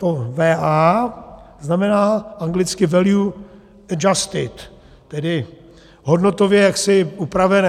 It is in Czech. To VA znamená anglicky value adjusted, tedy hodnotově jaksi upravené.